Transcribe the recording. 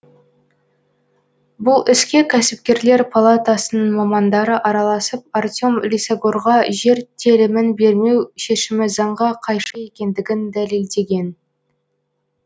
бұл іске кәсіпкерлер палатасының мамандары араласып артем лисагорға жер телімін бермеу шешімі заңға қайшы екендігін дәлелдеген